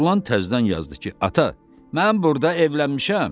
Oğlan təzədən yazdı ki, ata, mən burda evlənmişəm.